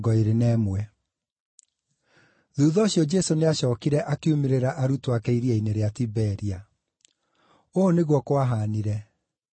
Thuutha ũcio Jesũ nĩacookire akiumĩrĩra arutwo ake iria-inĩ rĩa Tiberia. Ũũ nĩguo kwahaanire: